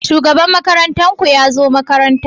Shugaban makarantar ku ya zo makaranta?